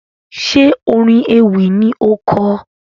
Ṣe orin ewì ni o kọ?